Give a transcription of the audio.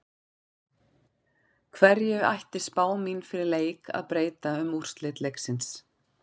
Hverju ætti spá mín fyrir leik að breyta um úrslit leiksins?